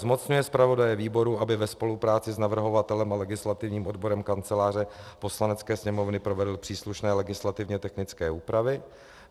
Zmocňuje zpravodaje výboru, aby ve spolupráci s navrhovatelem a legislativním odborem Kanceláře Poslanecké sněmovny provedl příslušné legislativně technické úpravy.